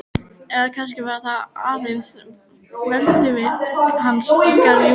Eða kannski var það aðeins velvild hans í garð Júlíu.